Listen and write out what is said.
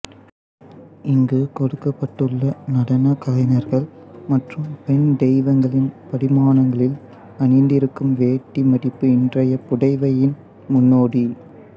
இங்கு கொடுக்கப்பட்டுள்ள நடன கலைஞர்கள் மற்றும் பெண் தெய்வங்களின் படிமானங்களில் அணிந்திருக்கும் வேட்டி மடிப்பு இன்றைய புடவையின் முன்னோடி